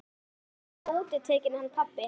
Hann er alltaf útitekinn hann pabbi.